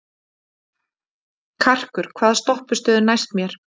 Karkur, hvaða stoppistöð er næst mér?